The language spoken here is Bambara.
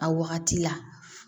A wagati la